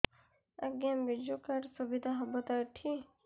ଆଜ୍ଞା ବିଜୁ କାର୍ଡ ସୁବିଧା ହବ ତ ଏଠି